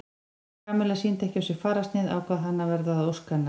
Kamilla sýndi ekki á sér fararsnið ákvað hann að verða að ósk hennar.